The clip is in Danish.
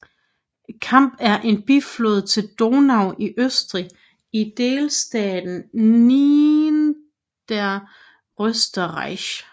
Kamp er en biflod til Donau i Østrig i delstaten Niederösterreich